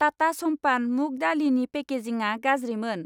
टाटा समपान मुग दालिनि पेकेजिंआ गाज्रिमोन।